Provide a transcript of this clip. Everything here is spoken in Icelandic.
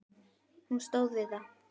Hún stóð við það!